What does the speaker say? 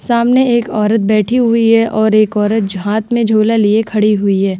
सामने एक औरत बैठी हुई है और एक औरत झ हाथ में झोला लिए खड़ी हुई है।